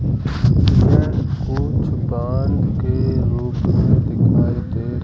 यह कुछ बांध के लोग दिखाई दे --